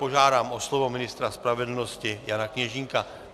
Požádám o slovo ministra spravedlnosti Jana Kněžínka.